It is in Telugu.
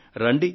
రండి